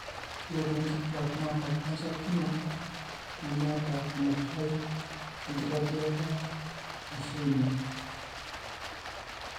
ore tonkituak naata casncer olkina, nemeeta enutai enkitadiata naishuyie.